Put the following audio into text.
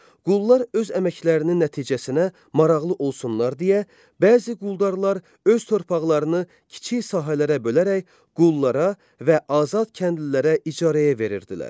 Qullar öz əməklərinin nəticəsinə maraqlı olsunlar deyə, bəzi quldarlar öz torpaqlarını kiçik sahələrə bölərək qullara və azad kəndlilərə icarəyə verirdilər.